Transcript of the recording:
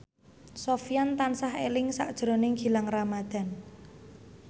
Sofyan tansah eling sakjroning Gilang Ramadan